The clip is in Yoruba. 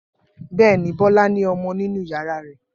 Bẹ́ẹ̀ ni, Bọ́lá ní ọmọ nínú ìyàrá rẹ̀.